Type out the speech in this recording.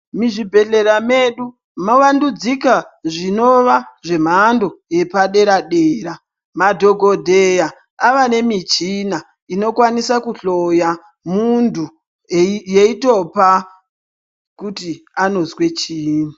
Muzvibhedhlera medu, mavandudzika zvinova zvemhando yepaderadera. Madhokodheya ava nemichina inokwanisa kuhloya muntu yeyitopa kuti anozva chinyi.